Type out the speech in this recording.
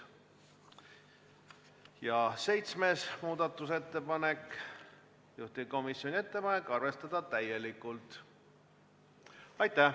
Ja seitsmes muudatusettepanek, juhtivkomisjoni ettepanek: arvestada täielikult.